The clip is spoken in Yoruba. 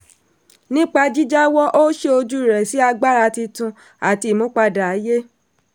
nípa jíjáwọ́ ó ṣí ojú rẹ̀ sí agbára tuntun àti ìmúpadà ayé.